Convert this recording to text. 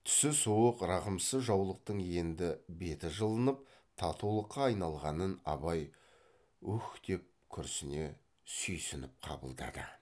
түсі суық рақымсыз жаулықтың енді беті жылынып татулыққа айналғанын абай уһ деп күрсіне сүйсініп қабылдады